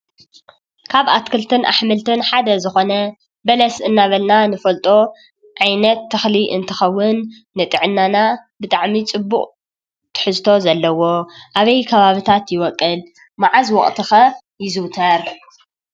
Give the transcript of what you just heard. ካብ ኣትክልትን ኣሕምልትን ሓደ ዝኾነ በለስ እንዳበልና ንፈልጦ ዓይነት ተኽሊ እንትኸውን ንጥዕናና ብጣዕሚ ፅቡቅ ትሕዝቶ ዘለዎ ኣበይ ከባቢታት ይበቁል? መዓዝ ወቅቲ ኸ ይዝውተር?